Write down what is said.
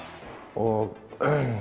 og